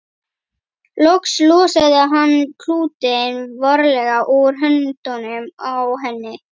Loks losaði hann klútinn varlega úr höndunum á henni.